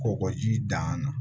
Kɔgɔji dan na